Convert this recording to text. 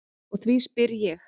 Og því spyr ég.